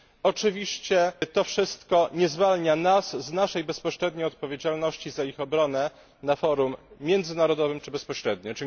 Oczywiście to wszystko nie zwalnia nas z naszej bezpośredniej odpowiedzialności za ich obronę na forum międzynarodowym czy bezpośrednio.